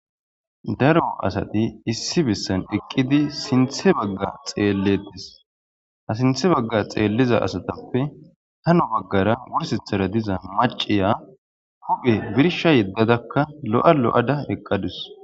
Daro asati issi bessan eqqidi sinthe bagga xeelletes ha sinthe bagga xeelliza asatappe hano baggara wursithara diza maciya huphe birsha yeddadakka lo'a lo'ada eqqadus.